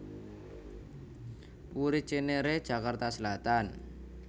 Puri Cinere Jakarta Selatan